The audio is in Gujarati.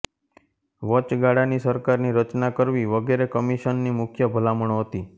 વચગાળાની સરકારની રચના કરવી વગેરે કમિશનની મુખ્ય ભલામણો હતી